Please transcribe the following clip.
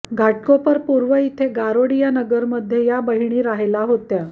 घाटकोपर पूर्व इथं गारोडीया नगरमध्ये या बहिणी राहायला होत्या